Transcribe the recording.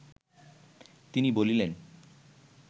তিনি বলিলেন